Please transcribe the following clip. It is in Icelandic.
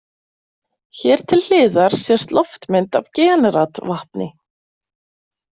Hér til hliðar sést loftmynd af Generatvatni.